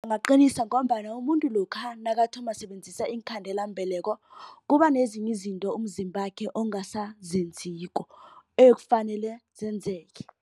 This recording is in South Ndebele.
Bangaqinisa ngombana umuntu lokha nakathoma ukusebenzisa iinkhandelambeleko. Kuba nezinye izinto umzimbakhe ongasazenziko ekufanele zenzeke.